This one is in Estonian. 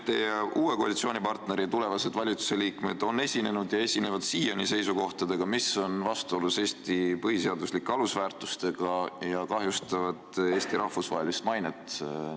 Teie uue koalitsiooni tulevased valitsusliikmed on esinenud ja esinevad siiani seisukohtadega, mis on vastuolus Eesti põhiseaduslike alusväärtustega ja kahjustavad Eesti rahvusvahelist mainet.